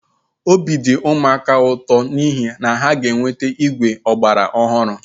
Obi dị ụmụaka ụtọ n'ihi na ha ga-enweta igwe ọgbara ọhụrụ